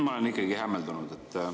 Ma olen ikkagi hämmeldunud.